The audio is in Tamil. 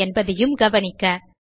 கவுட் என்பதையும் கவனிக்க